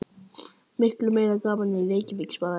Miklu meira gaman en í Reykjavík svaraði Lilla.